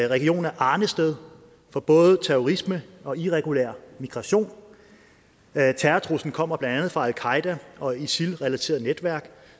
regionen er arnested for både terrorisme og irregulær migration terrortruslen kommer blandt andet fra al qaeda og isil relaterede netværk